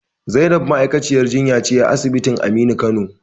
Zainab ma'aikaciyar jinya ce a asibitin Aminu Kano.